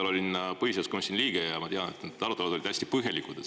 Ma olin vahepeal põhiseaduskomisjoni liige ja ma tean, et need arutelud olid hästi põhjalikud.